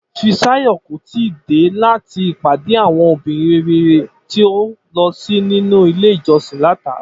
Fisáyò̩ kò tíì dé láti ìpàdé àwo̩n obìnrin rere tó lo̩ sí nínú ilé ìjo̩sin láti àárò̩